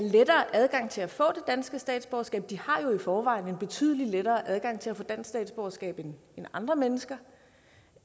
lettere adgang til at få det danske statsborgerskab de har i forvejen betydelig lettere adgang til at få dansk statsborgerskab end andre mennesker